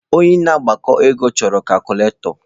Onye na-agbakọ ego chọrọ kacụlatọ.